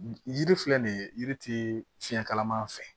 Yiri filɛ nin ye yiri tɛ fiɲɛ kalama an fɛ